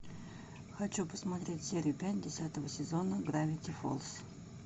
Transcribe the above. хочу посмотреть серию пять десятого сезона гравити фолз